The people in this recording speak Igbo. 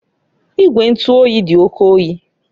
Igwe ntụ oyi dị oke oyi